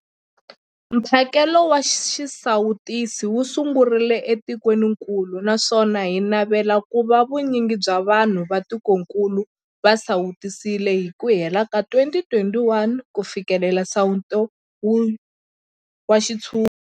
Mphakelo wa xisawutisi wu sungurile etikwenikulu naswona hi navela ku va vu nyingi bya vanhu va tikokulu va sawutisiwile hi ku hela ka 2021 ku fikelela nsawuto wa xintshungu.